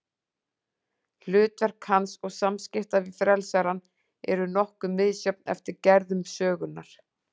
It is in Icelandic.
Hlutverk hans og samskipti við frelsarann eru nokkuð misjöfn eftir gerðum sögunnar.